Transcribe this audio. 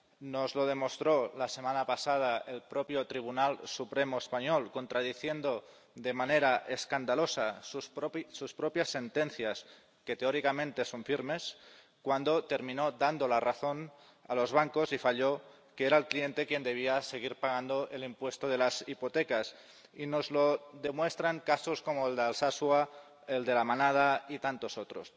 Nos lo demostró la semana pasada el propio Tribunal Supremo español, contradiciendo de manera escandalosa sus propias sentencias, que teóricamente son firmes, cuando terminó dando la razón a los bancos y falló que era el cliente quien debía seguir pagando el impuesto de las hipotecas, y nos lo demuestran casos como el de Alsasua, el de La Manada y tantos otros.